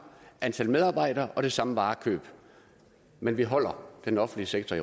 antal medarbejdere og det samme varekøb men vi holder den offentlige sektor